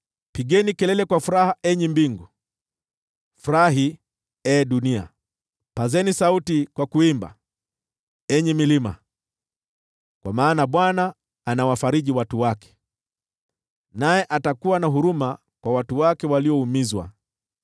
Pigeni kelele kwa furaha, enyi mbingu; furahi, ee dunia; pazeni sauti kwa kuimba, enyi milima! Kwa maana Bwana anawafariji watu wake, naye atakuwa na huruma kwa watu wake walioumizwa.